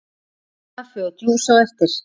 Kaffi og djús á eftir.